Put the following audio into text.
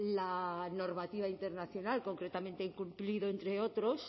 la normativa internacional concretamente incumplido entre otros